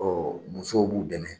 Ɔ musow b'u dɛmɛ